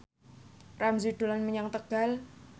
Ramzy dolan menyang Tegal